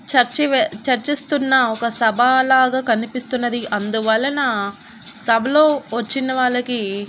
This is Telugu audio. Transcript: చర్చి వే చర్చిస్తున్న ఒక సభా లాగా కనిపిస్తున్నది అందువలన సభలో వచ్చిన వాళ్ళకి--